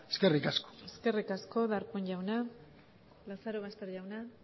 eskerrik asko eskerrik asko darpón jauna lazarobaster jauna